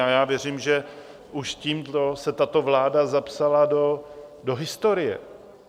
A já věřím, že už tímto se tato vláda zapsala do historie.